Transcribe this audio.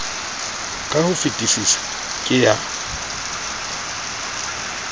ka ho fetesisa ke ya